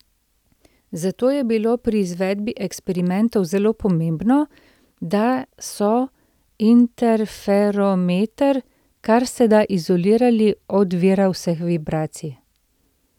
Zato je bilo pri izvedbi eksperimentov zelo pomembno, da so interferometer kar se da izolirali od vira vseh vibracij.